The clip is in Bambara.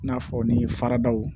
I n'a fɔ ni faradaw